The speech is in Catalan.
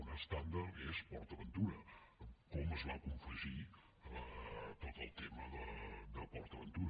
un estàndard és port aventura com es va confegir tot el tema de port aventura